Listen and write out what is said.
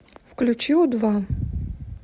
включи у два